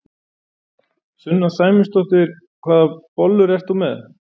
Sunna Sæmundsdóttir: Hvaða bollur ert þú með?